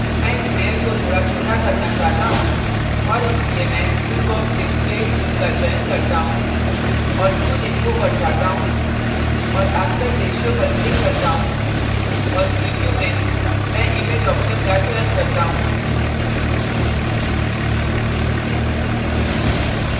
मैं इस layer को थोड़ा छोटा करना चाहता choose और इसलिए मैं tool बॉक्स से scale tool का चयन करता choose और tool info पर जाता choose और aspect ratio aspect ratio पर click करता choose और प्रिव्यू में मैं image option का चयन करता choose